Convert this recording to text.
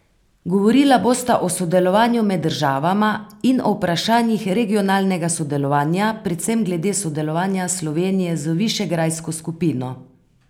Govorila bosta o sodelovanju med državama in o vprašanjih regionalnega sodelovanja, predvsem glede sodelovanja Slovenije z Višegrajsko skupino.